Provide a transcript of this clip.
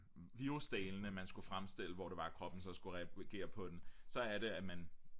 virsudelene man skulle fremstille hvor det var kroppen så skulle reagere på den så er det at man